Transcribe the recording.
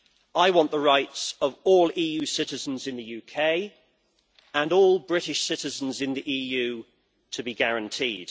I want the rights of all EU citizens in the UK and all British citizens in the EU to be guaranteed.